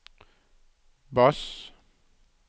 bass